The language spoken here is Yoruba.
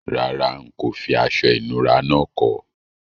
Rárá, n kò fi aso ìnura náà ko